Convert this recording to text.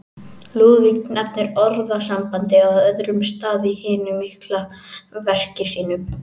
Lúðvík nefnir orðasambandið á öðrum stað í hinu mikla verki sínu.